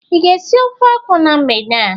Ị ga-esi ofe akwụ na mgbede a.